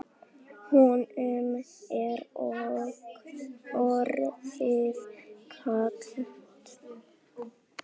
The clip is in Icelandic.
Honum er orðið kalt.